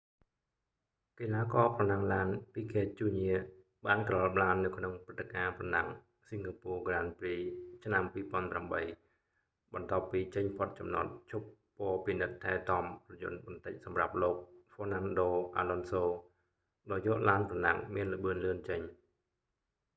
កីឡាករប្រណាំងឡាន ភីហ្គេត ជូរញា piquet jr បានក្រឡាប់ឡាននៅក្នុងព្រឹត្តិការណ៍ប្រណាំង singapore grand prix ឆ្នាំ 2008 បន្ទាប់ពីចេញផុតចំណតឈប់ពពិនិត្យថែទាំរថយន្តបន្តិចសម្រាប់លោក ហ្វ៊័រណាន់ដូ អាឡុនសូ fernando alonso ដោយយកឡានប្រណាំងមានល្បឿនលឿនចេញ